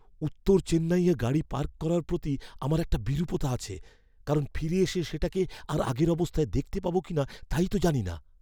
উত্তর চেন্নাইয়ে গাড়ি পার্ক করার প্রতি আমার একটা বিরূপতা আছে, কারণ ফিরে এসে সেটাকে আর আগের অবস্থায় দেখতে পাবো কিনা তাই তো জানি না।